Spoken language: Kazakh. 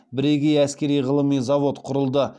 бірегей әскери ғылыми завод құрылды